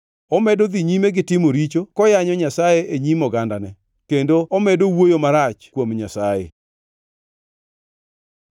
Omedo dhi nyime gi timo richo koyanyo Nyasaye e nyim ogandane, kendo omedo wuoyo marach kuom Nyasaye.”